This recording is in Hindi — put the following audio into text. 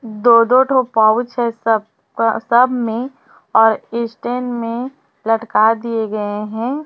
दो दो ठो पाउच है सब का सब में और स्टैंड में लटका दिए गए हैं।